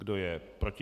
Kdo je proti?